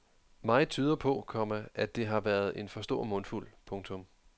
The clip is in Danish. Meget tyder på, komma at det har været en for stor mundfuld. punktum